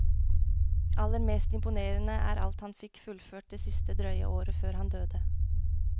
Aller mest imponerende er alt han fikk fullført det siste drøye året før han døde.